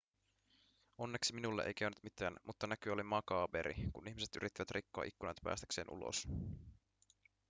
onneksi minulle ei käynyt mitään mutta näky oli makaaberi kun ihmiset yrittivät rikkoa ikkunoita päästäkseen ulos